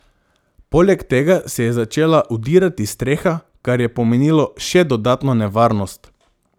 Poleg tega se je začela vdirati streha, kar je pomenilo še dodatno nevarnost.